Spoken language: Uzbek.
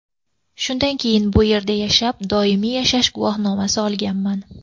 Shundan keyin bu yerda ishlab, doimiy yashash guvohnomasi olganman.